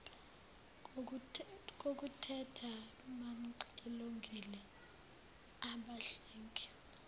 kokuteta bamxilongile abahlengi